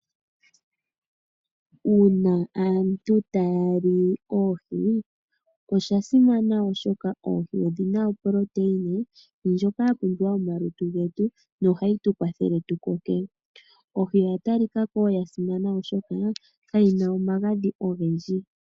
Uuna aantu taya li oohi, osha simana oshoka oohi odhina oproteina ndjoka yapumbiwa momalutu getu no ohayi tukwathele tu koke, oohi odha talikako dha simana oshoka kadhina omagadhi ogendji.